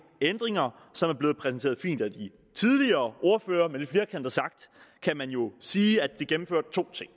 ændringer som er blevet præsenteret fint af de tidligere ordførere men lidt firkantet sagt kan man jo sige at det gennemfører to ting